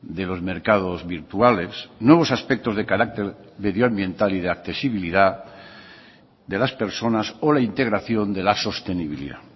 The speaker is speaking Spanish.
de los mercados virtuales nuevos aspectos de carácter medioambiental y de accesibilidad de las personas o la integración de la sostenibilidad